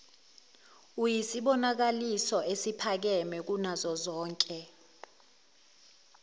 iyisibonakaliso esiphakeme kunazozonke